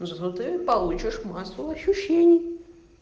ну зато ты получишь массу ощущений